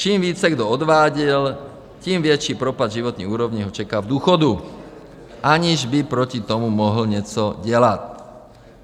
Čím více kdo odváděl, tím větší propad životní úrovně ho čeká v důchodu, aniž by proti tomu mohl něco dělat.